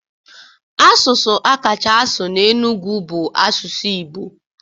Asụsụ akacha asụ na Enugwu bụ asụsụ Igbo